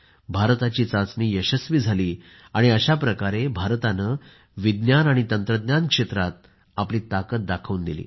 भारताची चाचणी यशस्वी झाली आणि अशा प्रकारे भारताने विज्ञान आणि तंत्रज्ञान क्षेत्रात आपली ताकद दाखवून दिली